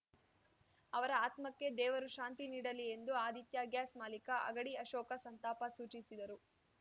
ಅವರ ಆತ್ಮಕ್ಕೆ ದೇವರು ಶಾಂತಿ ನೀಡಲಿ ಎಂದು ಆದಿತ್ಯಾ ಗ್ಯಾಸ್‌ ಮಾಲಿಕ ಅಗಡಿ ಅಶೋಕ ಸಂತಾಪ ಸೂಚಿಸಿದರು